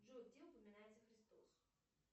джой где упоминается христос